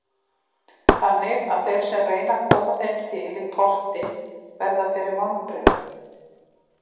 Þannig að þeir sem reyna að koma þeim til í potti verða fyrir vonbrigðum.